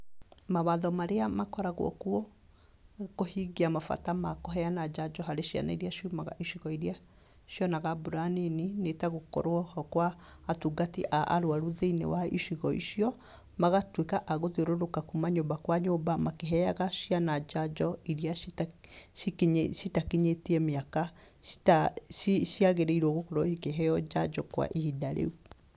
Mawatho marĩa makoragwo kuo, kũhingia mabata makũheana njanjo harĩ ciana iria ciumaga icigo iria cionaga mbura nini, nĩ tagũkorwo ho kwa atungati a arwaru thĩinĩ wa icigo icio, magatuĩka a gũthiũrũka kuuma nyũmba kwa nyũmba, makĩheyaga ciana njanjo iria cita cikinyĩ citakinyĩtie mĩwaka cita ci ciagĩrĩirwo gũkorwo ikĩheyo njanjo kwa ihinda rĩu.